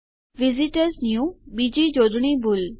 visitors new બીજી જોડણી ભૂલ